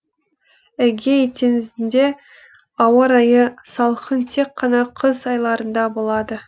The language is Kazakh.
эгей теңізінде ауа райы салқын тек қана қыс айларында болады